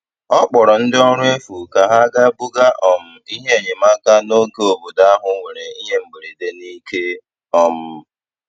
Ọ kpọrọ ndị ọrụ efu ka ha ga buga um ihe enyemaka n'oge obodo ahụ nwere ihe mberede n'ike. um